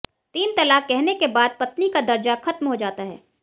तीन तलाक कहने के बाद पत्नी का दर्जा खत्म हो जाता है